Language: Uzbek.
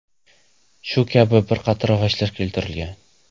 Shu kabi bir qator vajlar keltirilgan.